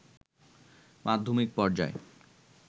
মাধ্যমিক পর্যায়ে